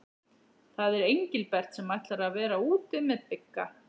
Það er Engilbert sem ætlar að vera úti með Bigga.